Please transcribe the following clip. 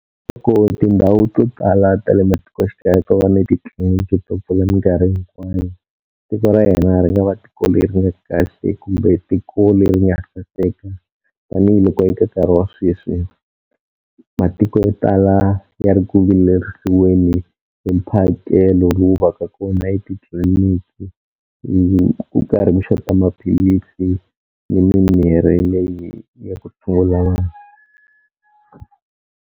Loko tindhawu to tala ta le matikoxikaya to va ni titliliniki to pfula minkarhi hinkwayo tiko ra yena ri nga va tiko leri nga kahle kumbe tiko le ri nga saseka tanihiloko eka nkarhi wa sweswi, matiko yo tala ya ri ku vilerisiweni hi mphakelo lowu va ka kona etitliliniki hi ku karhi ku xota maphilisi ni mimirhi leyi ya ku tshungula .